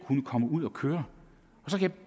kunne komme ud at køre